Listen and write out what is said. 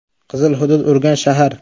“Qizil” hudud: Urganch shahar.